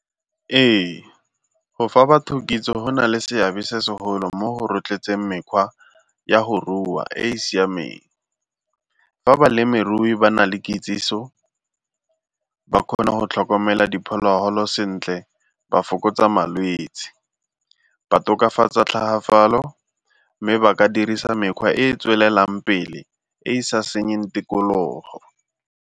Ee, go fa batho kitso go na le seabe se segolo mo go rotloetseng mekgwa ya go rua e e siameng. Fa balemirui ba na le kitsiso ba kgona go tlhokomela diphologolo sentle ba fokotsa malwetsi, ba tokafatsa tlhagafalo mme ba ka dirisa mekgwa e e tswelelang pele e e sa senyeng tikologo.